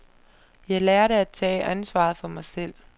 Jeg lærte at tage ansvaret for mig selv.